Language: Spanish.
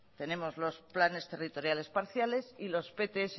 tenemos los planes territoriales parciales y los pts